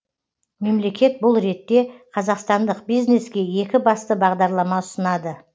мемлекет бұл ретте қазақстандық бизнеске екі басты бағдарлама ұсынады